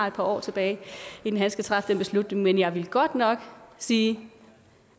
et par år tilbage inden han skal træffe den beslutning men jeg vil godt nok sige